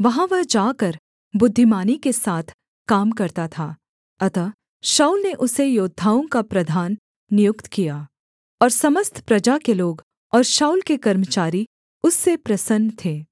वहाँ वह जाकर बुद्धिमानी के साथ काम करता था अतः शाऊल ने उसे योद्धाओं का प्रधान नियुक्त किया और समस्त प्रजा के लोग और शाऊल के कर्मचारी उससे प्रसन्न थे